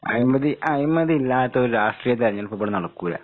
അഴിമതി അഴിമതി ഇല്ലാത്തൊര് രാഷ്ട്രീയ തെരഞ്ഞെടുപ്പിവിടെ നടക്കൂല്ല.